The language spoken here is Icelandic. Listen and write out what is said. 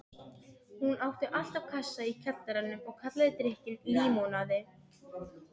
Hún átti alltaf kassa í kjallaranum og kallaði drykkinn límonaði.